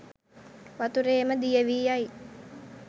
වතුරේ ම දිය වී යයි